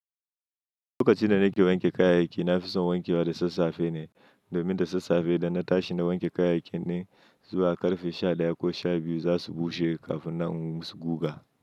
Lokacin da nake wanke kayayyaki, na fi son wanke wa da sassafe ne, domin da sassafe idan na tashi na wanke kayayyaki ne, zuwa ƙarfe sha ɗaya ko sha biyu za su bushe kafin na guga.